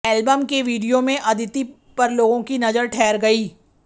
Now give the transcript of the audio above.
album के video में अदिति पर लोगों की नजर ठहर गई